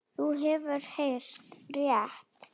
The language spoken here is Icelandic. Þú hefur heyrt rétt.